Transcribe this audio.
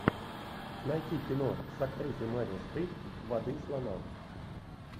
найти кино с актрисой мерил стрип воды слонам